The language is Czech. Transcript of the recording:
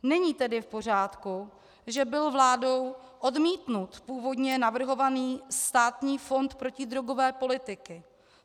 Není tedy v pořádku, že byl vládou odmítnut původně navrhovaný Státní fond protidrogové politiky.